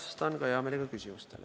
Vastan hea meelega ka küsimustele.